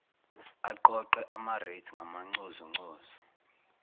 aqoqe amarates ngamanconzunconzu